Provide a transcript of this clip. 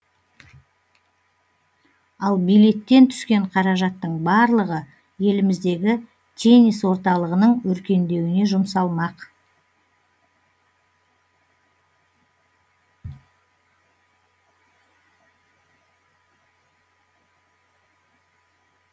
ал билеттен түскен қаражаттың барлығы еліміздегі теннис орталығының өркендеуіне жұмсалмақ